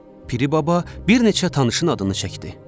Piri baba bir neçə tanışın adını çəkdi.